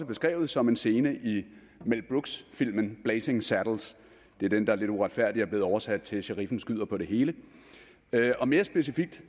beskrevet som en scene i mel brooks filmen blazing saddles det er den der lidt uretfærdigt er blevet oversat til sheriffen skyder på det hele og mere specifikt